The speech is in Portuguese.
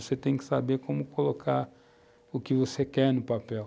Você tem que saber como colocar o que você quer no papel.